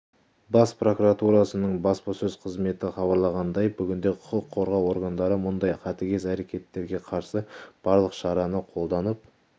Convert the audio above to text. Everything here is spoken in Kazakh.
бас прокуратурасының баспасөз қызметі хабарлағандай бүгінде құқық қорғау органдары мұндай қатыгез әрекеттерге қарсы барлық шараны қолданып